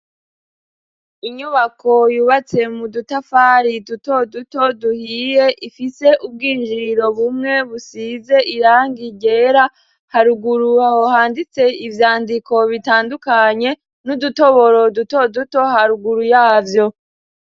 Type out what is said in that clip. Inyubako yubatse mu dutafari duto duto duhiye ifise ubwinjiriro bumwe busize irangi ryera haruguru aho handitse ivyandiko bitandukanye n'udutoboro duto duto haruguru yavyo.